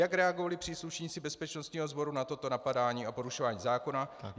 Jak reagovali příslušníci bezpečnostního sboru na toto napadání a porušování zákona?